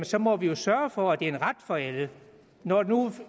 så må vi jo sørge for at det er en ret for alle når nu